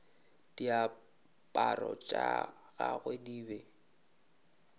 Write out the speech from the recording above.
diaparo tša gagwe di be